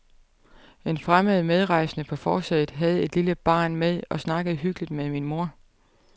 En fremmed medrejsende på forsædet havde et lille barn med og snakkede hyggeligt med min mor.